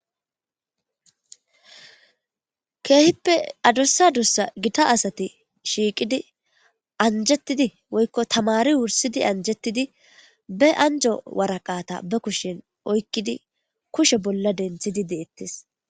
keehippe adussa dussa gitta asati shiiqidi anjettidi woykko tamari wursidi anjettidi be anjo waraqata be kushen oykkidi kushe bolla denthidi deettes